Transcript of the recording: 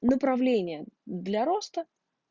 направление для роста